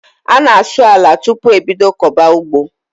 A na asụ àlà tupu e bídó koba ụgbọ